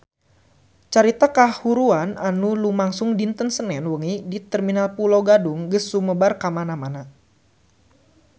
Carita kahuruan anu lumangsung dinten Senen wengi di Terminal Pulo Gadung geus sumebar kamana-mana